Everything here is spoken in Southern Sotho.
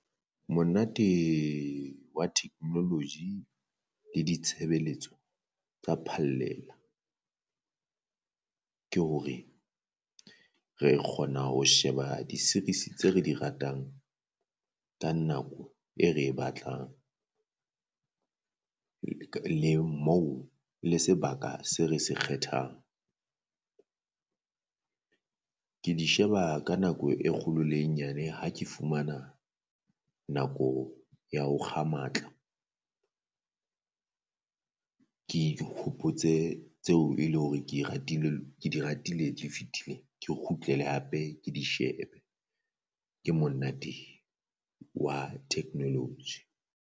Monate wa technology le ditshebeletso tsa phallela, ke hore re kgona ho sheba di series tse re di ratang ka nako e re e batlang le moo le sebaka se re se kgethang. Ke di sheba ka nako e kgolo le e nyane ha ke fumana nako ya ho kga matla ke dihopotse tseo e le hore ke ratile ke di ratile di fetile ke kgutlele hape ke di shebe, ke monate with technology.